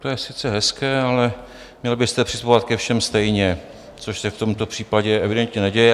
To je sice hezké, ale měl byste přistupovat ke všem stejně, což se v tomto případě evidentně neděje.